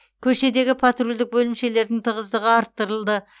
көшедегі патрульдік бөлімшелердің тығыздығы арттырылды